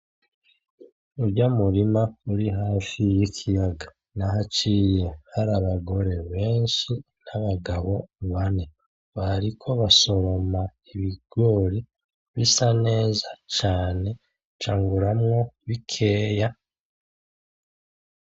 Urya murima uri hafi w'ikiyaga nahaciye hari abagore benshi n'abagabo bane, bariko basoroma ibigori bisa neza cane, canguramwo bikeya.